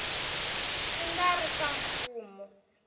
swi nga ri swa mfumo